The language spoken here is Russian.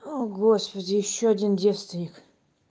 о господи ещё один девственник